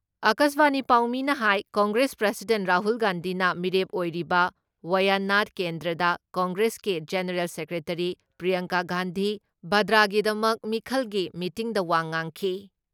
ꯑꯀꯥꯁꯕꯥꯅꯤ ꯄꯥꯎꯃꯤꯅ ꯍꯥꯏ ꯀꯪꯒ꯭ꯔꯦꯁ ꯄ꯭ꯔꯁꯤꯗꯦꯟ ꯔꯥꯍꯨꯜ ꯒꯥꯟꯙꯤꯅ ꯃꯤꯔꯦꯞ ꯑꯣꯏꯔꯤꯕ ꯋꯥꯌꯥꯅꯥꯊ ꯀꯦꯟꯗ꯭ꯔꯥꯗ ꯀꯪꯒ꯭ꯔꯦꯁꯀꯤ ꯒꯦꯅꯦꯔꯦꯜ ꯁꯦꯀ꯭ꯔꯦꯇꯔꯤ ꯄ꯭ꯔꯤꯌꯥꯡꯀꯥ ꯒꯥꯟꯙꯤ ꯚꯥꯗ꯭ꯔꯥꯒꯤꯗꯃꯛ ꯃꯤꯈꯜꯒꯤ ꯃꯤꯇꯤꯡꯗ ꯋꯥ ꯉꯥꯡꯈꯤ ꯫